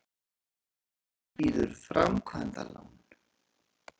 Landsbankinn býður framkvæmdalán